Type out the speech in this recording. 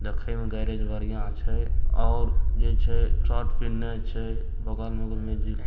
देखे में गैरेज बढ़ियाँ छै और जे छै शर्ट पीहिनले छै बगल बगल में जे --